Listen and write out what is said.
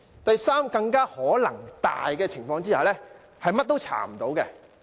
第三種更有可能的情況，就是甚麼也查不到。